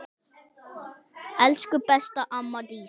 Elsku besta amma Dísa.